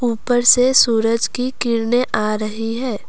ऊपर से सूरज की किरणें आ रही हैं।